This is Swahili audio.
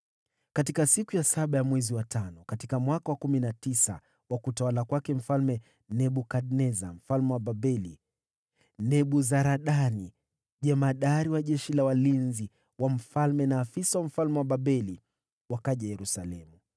Mnamo siku ya saba ya mwezi wa tano, katika mwaka wa kumi na tisa wa utawala wa Nebukadneza mfalme wa Babeli, Nebuzaradani jemadari wa askari walinzi wa mfalme, afisa wa mfalme wa Babeli, alikuja Yerusalemu.